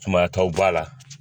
Sumayataw b'a la